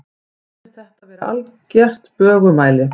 Mér finnst þetta vera algert bögumæli.